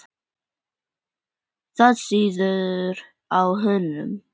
Það sýður á honum.